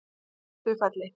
Kistufelli